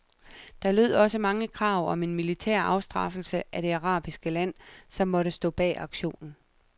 Der lød også mange krav om en militær afstraffelse af det arabiske land, som måtte stå bag aktionen.